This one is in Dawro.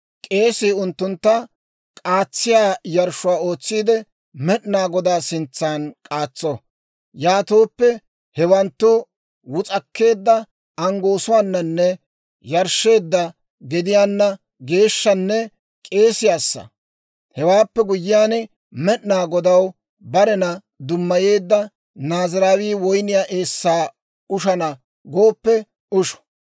K'eesii unttuntta k'aatsiyaa yarshshuwaa ootsiide, Med'inaa Godaa sintsan k'aatso. Yaatooppe hewanttu wus'akkeedda anggoosuwaananne yarshsheedda gediyaana geeshshanne k'eesiyaassa. Hewaappe guyyiyaan, Med'inaa Godaw barena dummayeedda Naaziraawii woyniyaa eessaa ushana gooppe usho.